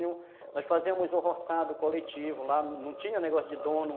Nós fazíamos o roçado coletivo lá, não tinha negócio de dono.